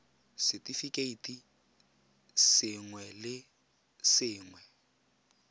r setefikeiti sengwe le sengwe